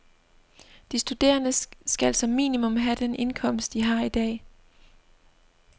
De studerende skal som minimum have den indkomst, de har i dag.